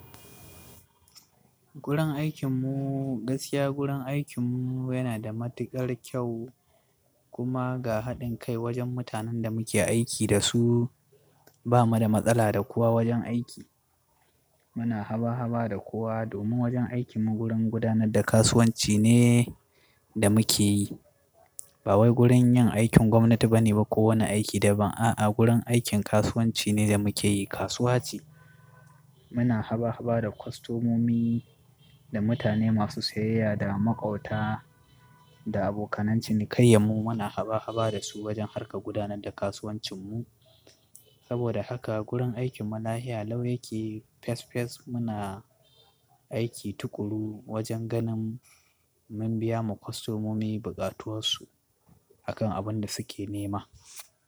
Gurin aikinmu, gaskiya gurin aikinmu yana da matuƙar kyau kuma ga haɗin kai wajen mutanen da muke aiki da su. Ba mu da matsala da kowa wajen aiki. Muna haba-haba da kowa domin wajen aikinmu gurin gudanar da kasuwanci ne da muke yi. Ba wai gurin yin aikin gwamnati ba ne ba ko wani aiki daban. A'a, gurin aikin kasuwanci ne da muke yi, kasuwa ce. Muna haba-haba da kwastomomi, da mutane masu siyayya, da makwabta, da abokanan cinikayya mu muna haba-haba da su wajen harka gudanar da kasuwanci mu. Saboda haka gurin aikinmu lafiya lau yake, fes fes muna aiki tuƙuru wajen ganin mun biya ma kwastomomi bukatunsu akan abin da suke nema.